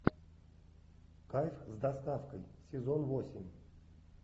кайф с доставкой сезон восемь